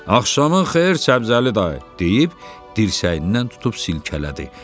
Axşamın xeyir Səbzəli dayı, deyib dirsəyindən tutub silkələdi.